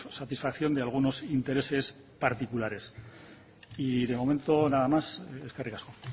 satisfacción de algunos intereses particulares y de momento nada más eskerrik asko